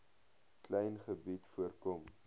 klein gebied voorkom